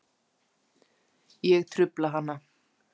Ég trufla hana.